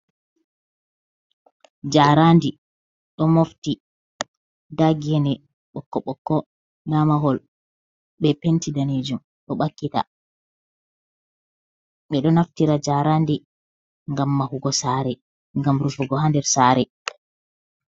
Jaaradi ɗo mofti, nda gene ɓokko-ɓokko nda mahol be penti danejum ɗo ɓakkita, ɓeɗo naftira jaaradi ngam mahugo sare, ngam rufugo hander sare.